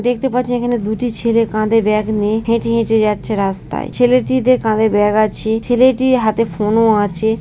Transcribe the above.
দেখতে পাচ্ছি এখানে দুটি ছেলে কাঁধে ব্যাগ নিয়ে হেটে হেটে যাচ্ছে রাস্তায় ছেলেটির কাঁধে ব্যাগ আছে ছেলেটির হাতে ফোনও -ও আছে।